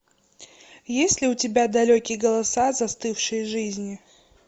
есть ли у тебя далекие голоса застывшие жизни